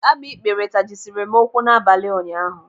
Agbikpere tajisiri m ụkwụ n'abalị ụnyaahụ.